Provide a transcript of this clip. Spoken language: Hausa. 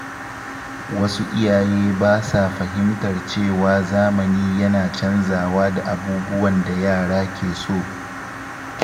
Wasu iyaye ba sa fahimtar cewa zamani yana canzawa da abubuwan da yara ke so.